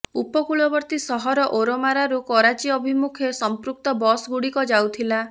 ଉପକୂଳବର୍ତ୍ତୀ ସହର ଓରମାରାରୁ କରାଚୀ ଅଭିମୁଖେ ସମ୍ପୃକ୍ତ ବସ୍ଗୁଡ଼ିକ ଯାଉଥିଲା